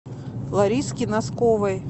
лариске носковой